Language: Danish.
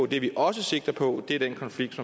det vi også sigter på er den konflikt